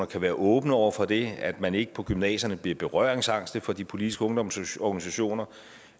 kan være åbne over for det at man ikke på gymnasierne bliver berøringsangste for de politiske ungdomsorganisationer